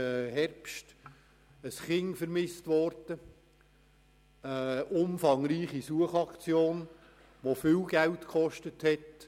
Es wurde ein Kind vermisst, es gab eine umfangreiche Suchaktion, die viel Geld gekostet hat.